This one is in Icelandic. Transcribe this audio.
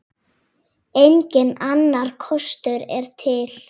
Enginn annar kostur er til.